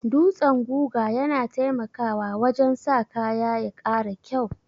Dutsan guga yana taimakawa wajen sa kaya ya ƙara kyau.